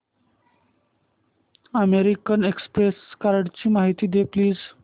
American Express कार्डची माहिती दे प्लीज